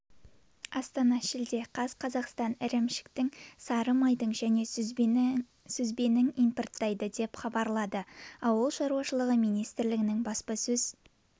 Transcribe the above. астана шілде қаз қазақстан ірімшіктің сары майдың және сүзбенің импорттайды деп хабарлады ауыл шаруашылығы министрлігінің баспасөз